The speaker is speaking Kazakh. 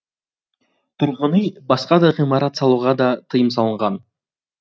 тұрғын үй басқа да ғимарат салуға да тыйым салынған